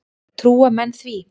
Trúa menn því?